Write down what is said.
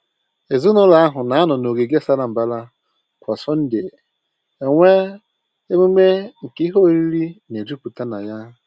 Ezinụlọ ahụ na-anọ n’ogige sara mbara kwa Sọnde enwe emume nke ihe oriri na-ejupụta na ya